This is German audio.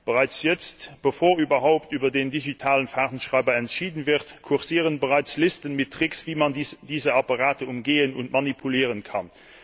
Bereits jetzt, bevor überhaupt über den digitalen Fahrtenschreiber entschieden wurde, kursieren Listen mit Tricks, wie man diese Apparate umgehen und manipulieren kann.